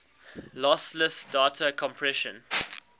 lossless data compression